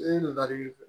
E nalen